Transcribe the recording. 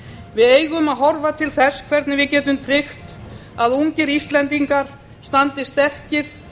við eigum að horfa til þess hvernig við getum tryggt að ungir íslendingar standi sterkir